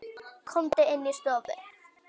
Komum inn í stofu!